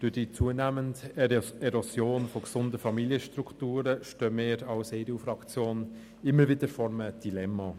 Durch die zunehmende Erosion gesunder Familienstrukturen, stehen wir als EDU-Fraktion immer wieder vor einem Dilemma.